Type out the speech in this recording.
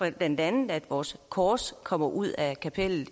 at blandt andet vores kors kommer ud af kapellet